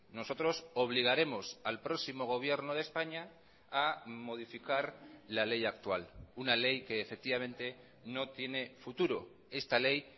nosotros obligaremos al próximo gobierno de españa a modificar la ley actual una ley que efectivamente no tiene futuro esta ley